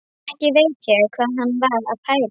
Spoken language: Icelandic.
Ekki veit ég hvað hann var að pæla.